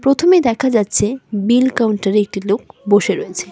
প্রথমে দেখা যাচ্ছে বিল কাউন্টারে একটি লোক বসে রয়েছে।